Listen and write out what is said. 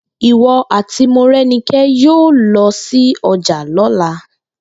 Ìwo̩ àti Moré̩niké̩ yóò lo̩ sí o̩jà ló̩la!